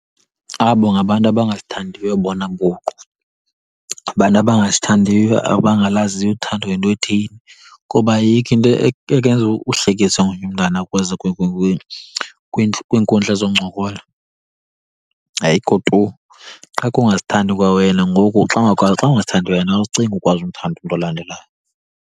Abo ngabantu abangazithandiyo bona buqu. Abantu abangazithandiyo, abangalaziyo uthando yinto ethini. Kuba ayikho into ekwenza uhlekise ngomnye umntana kwiinkundla zoncokola, ayikho tu. Qha kungazithandi kwa wena, ngoku xa , xa ungazithandi wena awucingi ukwazi umthanda umntu olandelayo.